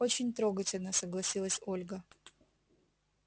очень трогательно согласилась ольга